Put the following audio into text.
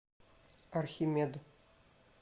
архимед